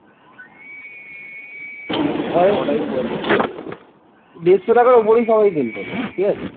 দেড়শ টাকার ওপরেই সবাই কিন্তু আমরা ঠিক আছে